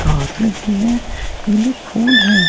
घास लगी है पीले फूल है।